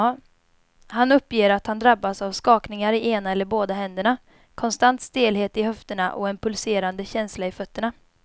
Han uppger att han drabbas av skakningar i ena eller båda händerna, konstant stelhet i höfterna och en pulserande känsla i fötterna.